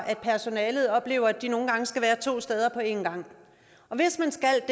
personalet oplever at de nogle gange skal være to steder på en gang hvis man skal